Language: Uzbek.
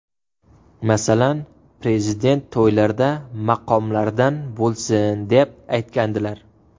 Masalan, Prezident to‘ylarda maqomlardan bo‘lsin deb, aytgandilar.